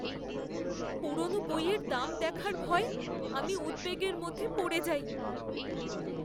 পুরনো বইয়ের দাম দেখার ভয়ে আমি উদ্বেগের মধ্যে পড়ে যাই।